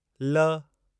ल